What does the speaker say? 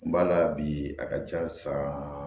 N ba la bi a ka ca sa